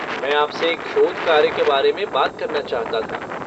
मैं आपसे एक शोध कार्य के बारे में बात करना चाहता था।